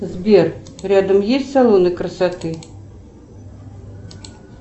сбер рядом есть салоны красоты